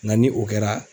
Nka ni o kɛra